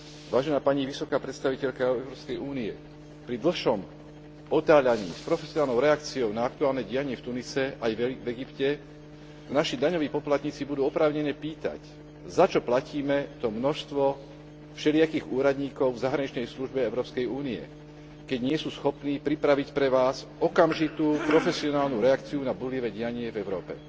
Vážená pani vysoká predstaviteľka Európskej únie, pri dlhšom otáľaní s profesionálnou reakciou na aktuálne dianie v Tunise aj v Egypte sa naši daňoví poplatníci budú oprávnene pýtať začo platíme to množstvo všelijakých úradníkov v zahraničnej službe Európskej únie, keď nie sú schopní pripraviť pre Vás okamžitú profesionálnu reakciu na búrlivé dianie v Európe.